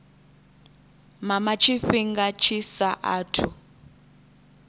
mama tshifhinga tshi sa athu